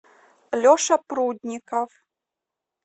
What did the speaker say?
леша прудников